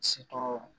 Se tɔɔrɔ